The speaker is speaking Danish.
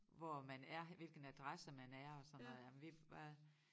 Hvor man er hvilken adresse man er og sådan noget ja men vi var